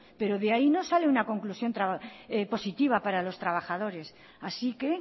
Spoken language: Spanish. pero de ahí no sale una conclusión positiva para los trabajadores así que